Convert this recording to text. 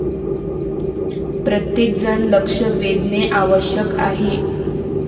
प्रत्येकजण लक्ष वेधणे आवश्यक आहे.